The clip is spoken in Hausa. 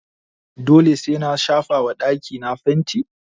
Dole sai na shafa wa dakí na fanti?